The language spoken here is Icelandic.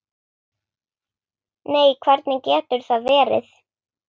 Nei, hvernig getur það verið?